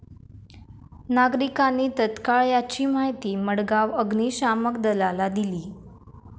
नागरिकांनी तत्काळ याची माहिती मडगाव अग्निशामक दलाला दिली.